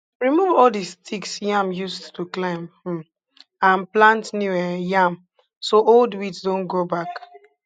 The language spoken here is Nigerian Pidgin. remove all the sticks yam used to climb um and plant new um yam so old weeds dont grow back